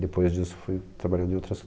Depois disso, fui trabalhando em outras